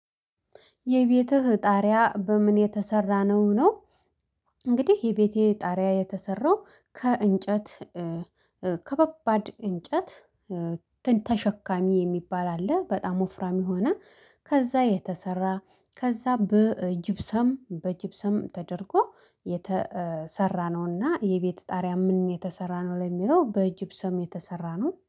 የቤትህ ጣሪያ በምን የተሰራ ነው? ነው እንግዲህ የቤቴ ጣሪያ የተሰራው ከእንጨት። ከበባድ እንጨት ተሸካሚ የሚባል አለ። በጣም ወፍራም የሆነ ከዛ የተሰራ ከዛ በጅብሰም በጅብሰም ተደርጎ የተሰራ። ነውና የቤት ጣሪያ ምን የተሰራ ነው ለሚለው በጅብሰም የተሰራ ነው